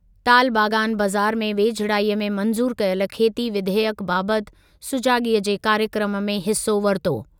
तालबागान बज़ारि में वेझिड़ाईअ में मंज़ूर कयल खेती विधेयकु बाबति सुजाॻीअ जे कार्यक्रमु में हिसो वरितो।